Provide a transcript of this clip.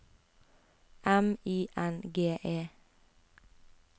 M I N G E